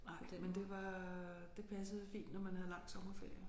Nej men det var det passede fint når man havde lang sommerferie